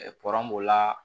b'o la